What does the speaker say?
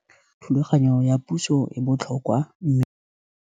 Thulaganyo ya puso e botlhokwa.